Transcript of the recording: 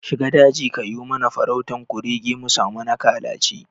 Shiga daji kayo mana farautan kurege musami na kalaci